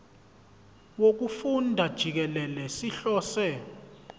wokufunda jikelele sihlose